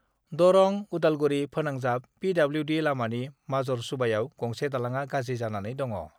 दरं-उदालगुरि फोनांजाब पिडब्लिउडि लामानि माजर सुबायाव गंसे दालांआ गाज्रि जानानै दङ